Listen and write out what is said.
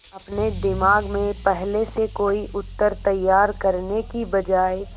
अपने दिमाग में पहले से कोई उत्तर तैयार करने की बजाय